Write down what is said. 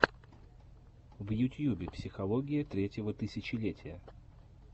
в ютьюбе психология третьего тысячелетия